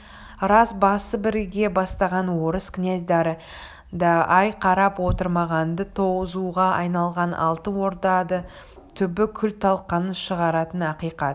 рас басы біріге бастаған орыс князьдары да ай қарап отырмаған-ды тозуға айналған алтын орданы түбі күл-талқанын шығаратыны ақиқат